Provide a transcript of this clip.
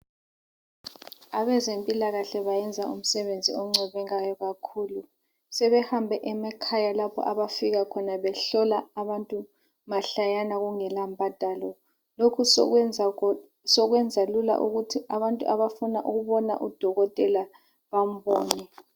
Abezempilakahle bayenza umsebenzi oncomekayo kakhulu. Sebehambe emakhaya lapho abafika khona behlola abantu mahlayana kungela mbadalo. Lokhu sokwenza lula ukuthi abantu abafuna ukubona udokotela bambone.